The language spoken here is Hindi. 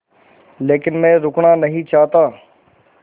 लेकिन मैं रुकना नहीं चाहता